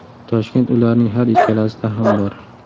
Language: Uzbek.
Toshkent ularning har ikkalasida ham bor.